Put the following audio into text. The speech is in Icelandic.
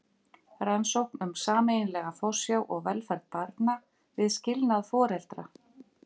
Rannsókn um sameiginlega forsjá og velferð barna við skilnað foreldra.